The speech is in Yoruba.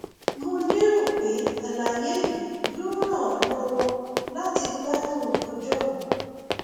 mo lérò pé àlàyé yìí yóò ràn ọ lọwọ láti gbádùn ọjọ rẹ